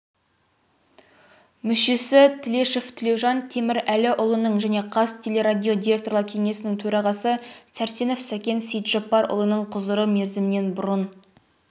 мүшесі тілешов тілеужан темірәліұлының және қазтелерадио директорлар кеңесінің төрағасы сәрсенов сәкен сейітжаппарұлының құзыры мерзімінен бұрын